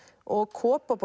og